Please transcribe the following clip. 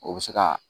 O bɛ se ka